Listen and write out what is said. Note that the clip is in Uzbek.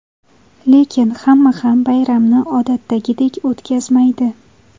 Lekin hamma ham bayramni odatdagidek o‘tkazmaydi.